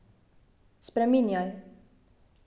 Spreminjaj.